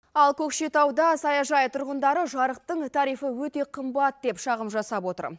ал көкшетауда саяжай тұрғындары жарықтың тарифы өте қымбат деп шағым жасап отыр